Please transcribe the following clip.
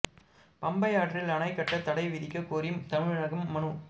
பம்பை ஆற்றில் அணை கட்ட தடை விதிக்க கோரி தமிழகம் மனு